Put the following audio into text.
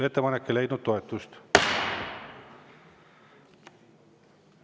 Ettepanek ei leidnud toetust.